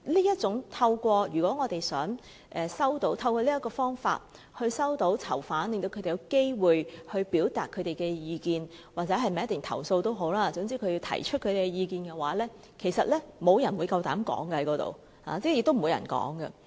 如果我們想透過探訪與囚犯見面，令他們有機會表達意見或作出投訴，總之讓他們提出意見的話，其實無人敢於在那個場合發言，是不會有人發言的。